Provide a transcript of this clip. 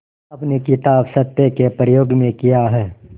अपनी किताब सत्य के प्रयोग में किया है